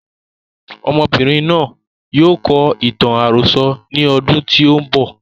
Ọmọbìnrin náà yóò kọ ìtàn àròsọ ní ọdún tí o ń bọ̀.